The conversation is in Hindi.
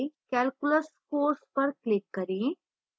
calculus course पर click करें